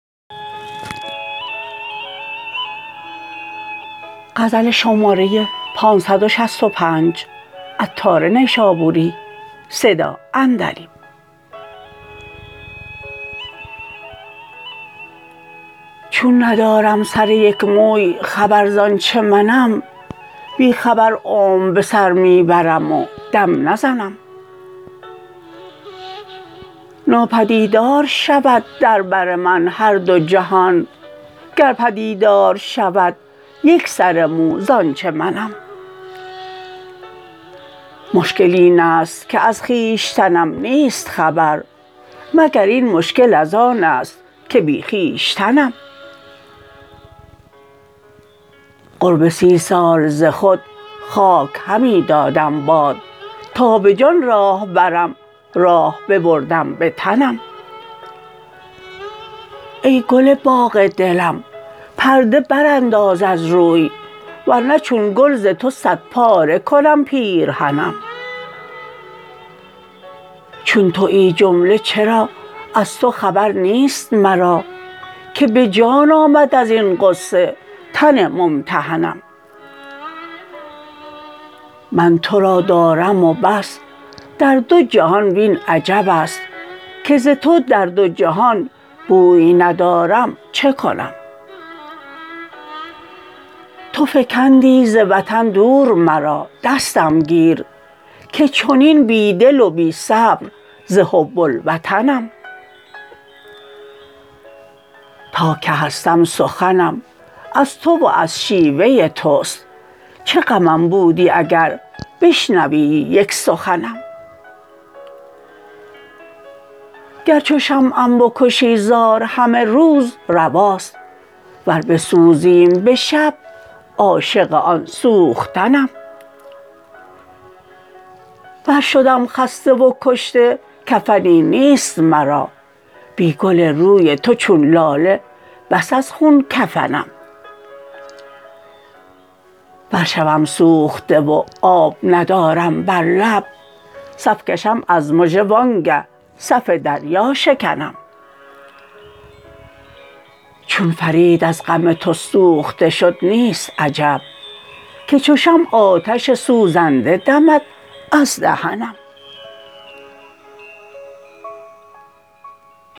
چون ندارم سر یک موی خبر زانچه منم بی خبر عمر به سر می برم و دم نزنم نا پدیدار شود در بر من هر دو جهان گر پدیدار شود یک سر مو زانچه منم مشکل این است که از خویشتنم نیست خبر مگر این مشکل از آن است که بی خویشتنم قرب سی سال ز خود خاک همی دادم باد تا به جان راه برم راه ببردم به تنم ای گل باغ دلم پرده برانداز از روی ورنه چون گل ز تو صد پاره کنم پیرهنم چون تویی جمله چرا از تو خبر نیست مرا که به جان آمد ازین غصه تن ممتحنم من تو را دارم و بس در دو جهان وین عجب است که ز تو در دو جهان بوی ندارم چکنم تو فکندی ز وطن دور مرا دستم گیر که چنین بی دل و بی صبر ز حب الوطنم تا که هستم سخنم از تو و از شیوه توست چه غمم بودی اگر بشنویی یک سخنم گر چو شمعم بکشی زار همه روز رواست ور بسوزیم به شب عاشق آن سوختنم ور شدم خسته و کشته کفنی نیست مرا بی گل روی تو چون لاله بس از خون کفنم ور شوم سوخته و آب ندارم بر لب صف کشم از مژه و آنگه صف دریا شکنم چون فرید از غم تو سوخته شد نیست عجب که چو شمع آتش سوزنده دمد از دهنم